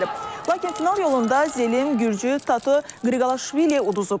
Lakin final yolunda Zelim gürcü Tato Qriqalaşviliyə uduzub.